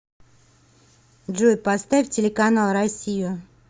джой поставь телеканал россию